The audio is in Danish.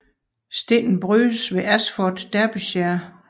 Stenen brydes ved Ashford i Derbyshire